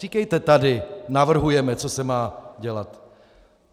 Říkejte tady "navrhujeme, co se má dělat".